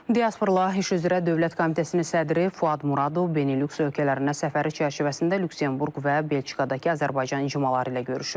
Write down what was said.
Diaspora ilə iş üzrə Dövlət Komitəsinin sədri Fuad Muradov Benilüks ölkələrində səfəri çərçivəsində Lüksemburq və Belçikadakı Azərbaycan icmaları ilə görüşüb.